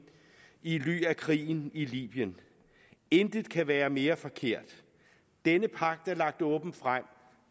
i ly af krigen i libyen intet kan være mere forkert denne pagt er lagt åbent frem